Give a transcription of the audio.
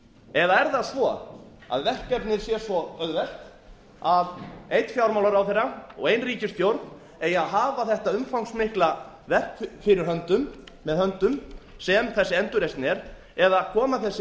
eða er það svo að verkefnið sé svo auðvelt að einn fjármálaráðherra og ein ríkisstjórn eigi að hafa þetta umfangsmikla verk fyrir höndum sem þessi endurreisn er eða koma þessi